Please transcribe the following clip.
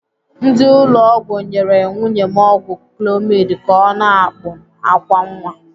Ndị ụlọ ọgwụ nyere nwunye m ọgwụ clomid ka ọ na-akpụ àkwá nwa.